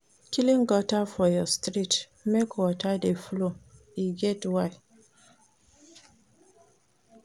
Clean gutter for your street, make water dey flow, e get why.